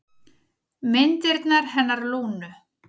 Myndirnar hennar Lúnu.